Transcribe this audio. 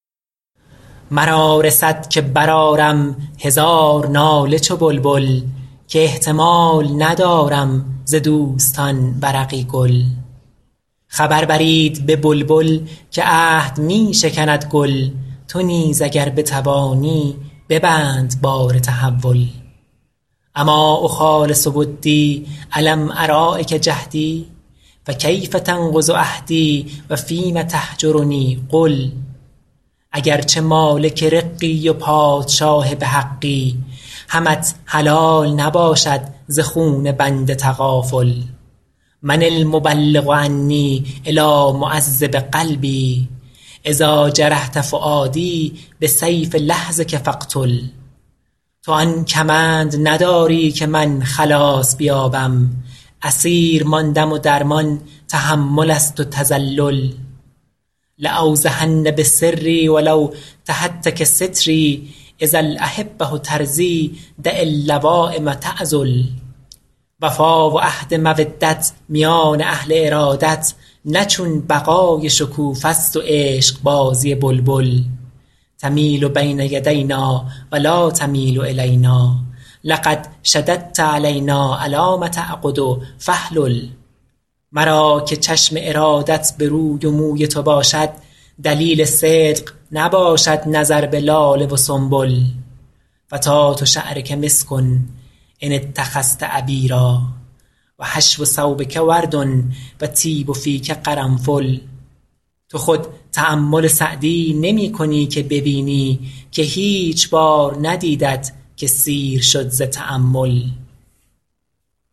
مرا رسد که برآرم هزار ناله چو بلبل که احتمال ندارم ز دوستان ورقی گل خبر برید به بلبل که عهد می شکند گل تو نیز اگر بتوانی ببند بار تحول أما أخالص ودی ألم أراعک جهدی فکیف تنقض عهدی و فیم تهجرنی قل اگر چه مالک رقی و پادشاه به حقی همت حلال نباشد ز خون بنده تغافل من المبلغ عنی إلیٰ معذب قلبی إذا جرحت فؤادی بسیف لحظک فاقتل تو آن کمند نداری که من خلاص بیابم اسیر ماندم و درمان تحمل است و تذلل لأوضحن بسری و لو تهتک ستری إذا الأحبة ترضیٰ دع اللوایم تعذل وفا و عهد مودت میان اهل ارادت نه چون بقای شکوفه ست و عشقبازی بلبل تمیل بین یدینا و لا تمیل إلینا لقد شددت علینا إلام تعقد فاحلل مرا که چشم ارادت به روی و موی تو باشد دلیل صدق نباشد نظر به لاله و سنبل فتات شعرک مسک إن اتخذت عبیرا و حشو ثوبک ورد و طیب فیک قرنفل تو خود تأمل سعدی نمی کنی که ببینی که هیچ بار ندیدت که سیر شد ز تأمل